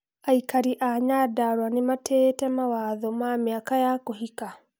Aikari a Nyandarua nimatĩĩte mawatho ma miaka ya kũhika?